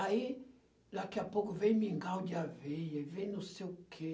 Aí, daqui a pouco, vem mingau de aveia, vem não sei o quê.